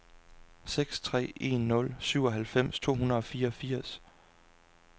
seks tre en nul syvoghalvfems to hundrede og fireogfirs